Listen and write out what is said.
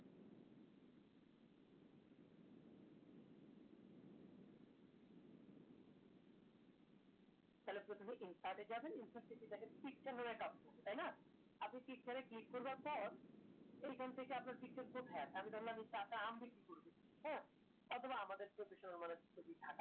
থালে প্রথমে impact এ যাবেন impact এ দেখেন বলে একটা আছে আপনি click এ করার পর এখন থেকে আপনার কোথায় আছে আমি ধরলাম যে টাকা আম বিক্রি করবে হ্যাঁ বা আমাদের ভীষণ ছবি থাকে